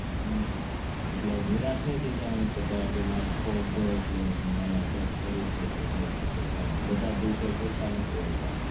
હમ્મ એટલે નિરાશ નહીં થઇ જવાનું કે ભાઈ મારે આજે ખોટ ગયી એટલે મારે cake કરવું પડશે પણ બધા દિવસો સરખા નથી હોતા